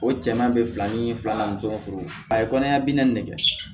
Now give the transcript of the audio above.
O cɛman bɛ fila ni filanan ni fɔlɔ a ye kɔniya bi naani de kɛ